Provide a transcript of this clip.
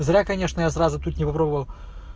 зря конечно я сразу тут не попробовал